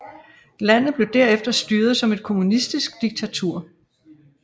Landet blev der efter styret som et kommunistisk diktatur